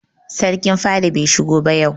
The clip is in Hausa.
Sarkin fada bai shigo ba yau.